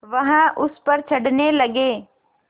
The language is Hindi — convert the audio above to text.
वह उस पर चढ़ने लगे